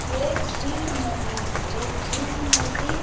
ये झील नदी है ये झील नदी --